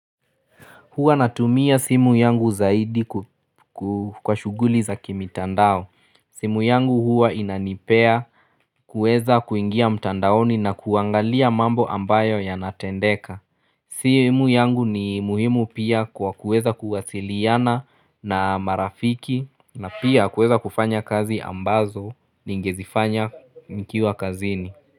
Hua natumia simu yangu zaidi kwa shuguli za kimitandao. Simu yangu hua inanipea kuweza kuingia mtandaoni na kuangalia mambo ambayo yanatendeka. Simu yangu ni muhimu pia kwa kuweza kuwasiliana na marafiki na pia kuweza kufanya kazi ambazo ningezifanya nikiwa kazini.